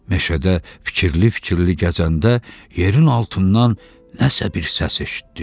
Meşədə fikirli-fikirli gəzəndə yerin altından nəsə bir səs eşitdi.